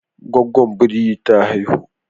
Gwaggon biri ta haihu